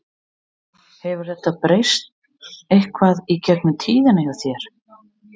Hefur þetta breyst eitthvað í gegnum tíðina hjá þér?